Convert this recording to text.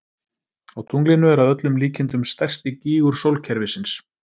Á tunglinu er að öllum líkindum stærsti gígur sólkerfisins.